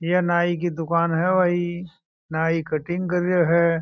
यह नाइ की दुकान है नाइ कटिंग कर रहा है।